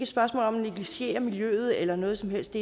spørgsmål om at negligere miljøet eller noget som helst